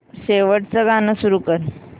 शेवटचं गाणं सुरू कर